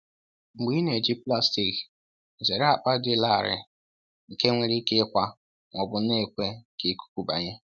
Mgbe ị na-eji plastik, zere akpa dị larịị nke nwere ike ịkwa ma ọ bụ na-ekwe ka ikuku banye.